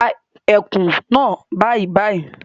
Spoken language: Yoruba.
Pa ẹkùn naa bàìbàì!